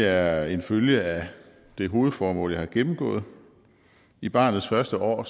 er en følge af det hovedformål jeg har gennemgået i barnets første år